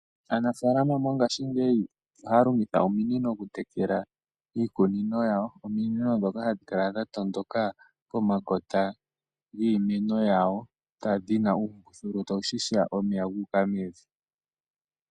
Aanafaalama mongashingeyi oha ya longitha ominino okutekela iikunino yawo. Ominino ndhoka hadhi kala dha tondoka pomakota giimeno yawo dhi na uumbululu ta wu ziya omeya ga u ka mevi.